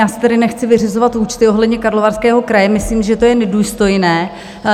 Já si tedy nechci vyřizovat účty ohledně Karlovarského kraje, myslím, že to je nedůstojné.